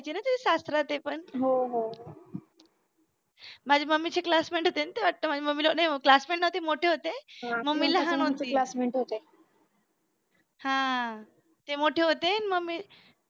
तुझे सासरा आणि ते पण माझ्या मम्मीचे classmate होते ना ते ते वाटतं माझ्या मम्मीला म्हणे नाही classmate नव्हते मोठे होते मम्मी लहान होती हा ते मोठे होते आणि मम्मी